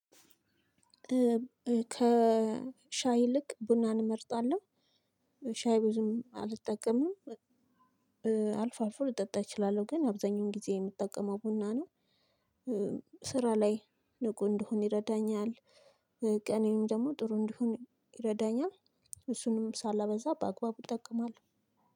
ከሻይ ይልቅ ቡናን እመርጣለሁ። ሻይ ብዙም አልጠቀምም። አልፎ አልፎ ልጠጣ እችላለሁ። ግን አብዛኛውን ጊዜ የምጠቀመው ቡና ነው። ስራ ላይ ንቁ እንደሆን ይረዳኛል፣ ቀኔንም ደግሞ ጥሩ እንደሆን ይረዳኛል። እሱንም ሳላበዛ በአግባቡ እጠቀማለሁ።